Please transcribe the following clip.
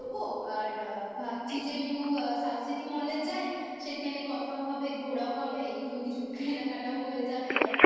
আর ভাবছি যে একটু South City mall এ যাই সেখানে কথাও হবে ঘোরাও হবে একটু কিছু কেনা কাটাও হয়ে যাবে দরকার